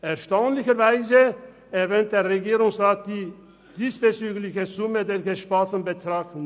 Erstaunlicherweise erwähnt der Regierungsrat die Höhe des diesbezüglich gesparten Betrags nicht.